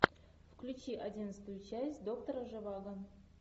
включи одиннадцатую часть доктора живаго